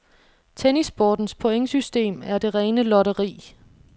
Tennissportens pointsystem er det rene lotteri.